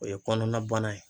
O ye kɔnɔna bana ye